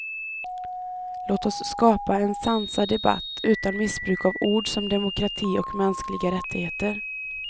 Låt oss skapa en sansad debatt utan missbruk av ord som demokrati och mänskliga rättigheter.